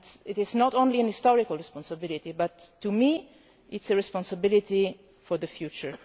It is not only a historical responsibility but, to me, it is a responsibility for the future.